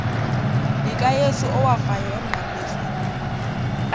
likakrestu owafayo emnqamlezweni